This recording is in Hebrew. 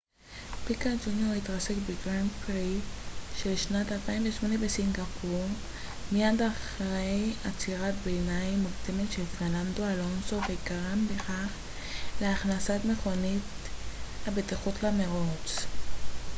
פיקה ג'וניור התרסק בגרנד פרי של שנת 2008 בסינגפור מיד אחרי עצירת ביניים מוקדמת של פרננדו אלונסו וגרם בכך להכנסת מכונית הבטיחות למרוץ